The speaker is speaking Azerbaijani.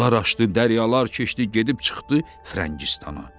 Dağlar aşdı, dəryalar keçdi, gedib çıxdı Frəngistana.